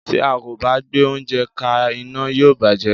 Tí a kò bá gbé oúnjẹ ka iná, yóò bàjé.